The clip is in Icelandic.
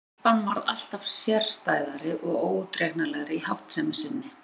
Telpan varð alltaf sérstæðari og óútreiknanlegri í háttsemi sinni.